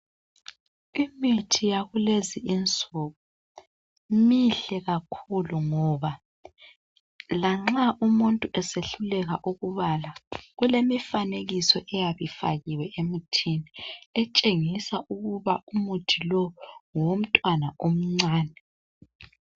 Imithi yakulezi insuku mihle kakhulu ngoba lanxa umuntu esehluleka ukubala kulemifanekiso eyabe ifakiwe emuthini etshengisa ukuba umuthi lo ngowomntwana omncane